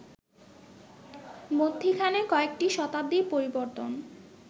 মধ্যিখানে কয়েকটি শতাব্দীর পরিবর্তন